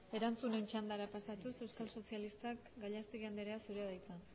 erantzunen txandara pasatuz euskal sozialistak gallastegui anderea zurea da hitza